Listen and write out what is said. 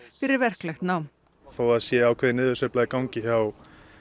fyrir verklegt nám þó að það sé ákveðin niðursveifla í gangi hjá